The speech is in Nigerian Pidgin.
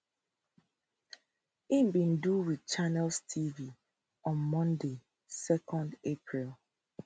im bin do wit channels tv on monday 2 april